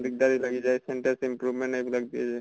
দিগ্দাৰি লাগি যায় sentence improvement এইবিলাক দিয়ে যে।